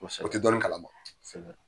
Kosɛbɛ. O ti jaabi kalan na .